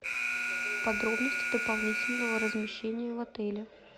подробности дополнительного размещения в отеле